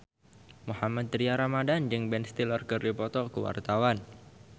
Mohammad Tria Ramadhani jeung Ben Stiller keur dipoto ku wartawan